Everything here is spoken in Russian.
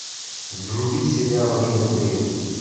вруби сериал ривердейл